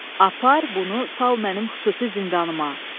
Apar bunu sal mənim xüsusi zindanıma.